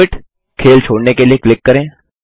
quit - खेल छोड़ने के लिए क्लिक करें